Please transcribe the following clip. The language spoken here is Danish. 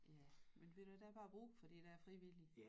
Ja men ved du hvad der er bare brug for de der frivillige